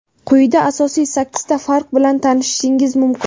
Quyida asosiy sakkizta farq bilan tanishishingiz mumkin.